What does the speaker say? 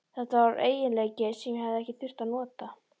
Þetta var eiginleiki sem ég hafði ekki þurft að nota.